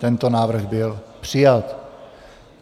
Tento návrh byl přijat.